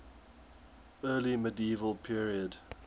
early medieval period